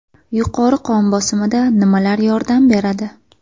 Yuqori qon bosimida nimalar yordam beradi?.